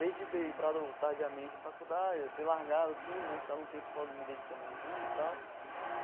Desde ter entrado tardiamente na faculdade, ter largado tudo né, ficar um tempo só me dedicando e tal.